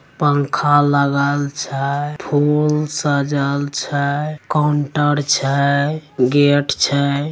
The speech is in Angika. पंखा लगल छै फूल सजल छै काउंटर छै गेट छै।